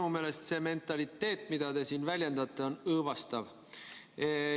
Minu meelest see mentaliteet, mida te siin väljendate, on õõvastav.